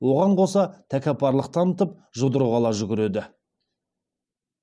оған қоса тәкаппарлық танытып жұдырық ала жүгіреді